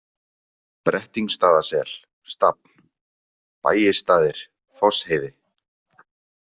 Brettingsstaðasel, Stafn, Bægisstaðir, Fossheiði